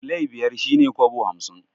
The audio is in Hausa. Silai biyar shine kobo hamsin